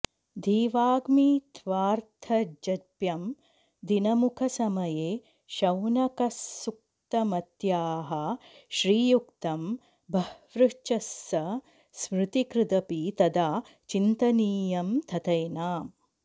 धीवाग्मित्वार्थजप्यं दिनमुखसमये शौनकस्सूक्तमत्याः श्रीयुक्तं बह्वृचस्स स्मृतिकृदपि तदा चिन्तनीयं तथैनाम्